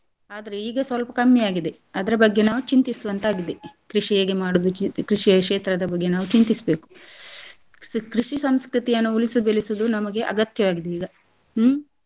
ಆದ್ರೆ ಈಗ ಸ್ವಲ್ಪ ಕಮ್ಮಿ ಆಗಿದೆ ಅದ್ರ ಬಗ್ಗೆ ನಾವ್ ಚಿಂತಿಸುವಂತಾಗಿದೆ . ಕೃಷಿ ಹೇಗೆ ಮಾಡೋದು ಚಿ~ ಕೃಷಿಯ ಕ್ಷೇತ್ರದ ಬಗ್ಗೆ ನಾವು ಚಿಂತಿಸ್ಬೇಕು ಕೃಷಿ ಸಂಸ್ಕೃತಿಯನ್ನು ಉಳಿಸಿ ಬೆಳೆಸುದು ನಮಗೆ ಅಗತ್ಯ ಆಗಿದೆ ಈಗ ಹ್ಮ್.